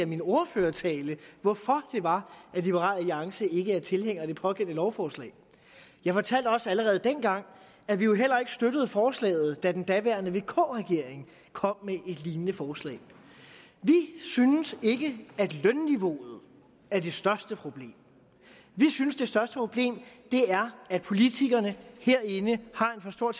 min ordførertale hvorfor det var at liberal alliance ikke er tilhænger af det pågældende lovforslag jeg fortalte også allerede dengang at vi jo heller ikke støttede forslaget da den daværende vk regering kom med et lignende forslag vi synes ikke at lønniveauet er det største problem vi synes det største problem er at politikerne herinde har en for stor